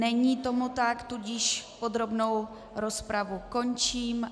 Není tomu tak, tudíž podrobnou rozpravu končím.